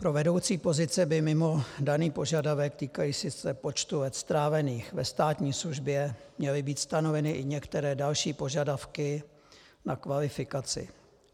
Pro vedoucí pozice by mimo daný požadavek týkající se počtu let strávených ve státní službě měly být stanoveny i některé další požadavky na kvalifikaci.